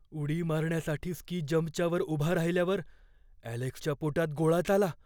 उडी मारण्यासाठी स्की जंपच्या वर उभा राहिल्यावर ॲलेक्सच्या पोटात गोळाच आला.